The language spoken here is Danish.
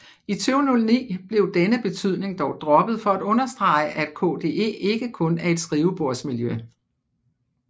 I 2009 blev denne betydning dog droppet for at understrege at KDE ikke kun er et skrivebordsmiljø